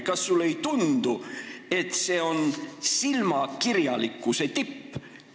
Kas sulle ei tundu, et see on silmakirjalikkuse tipp?